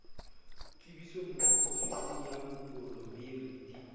tsebiso ofising ya moporemiri di